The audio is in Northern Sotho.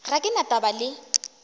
ga ke na taba le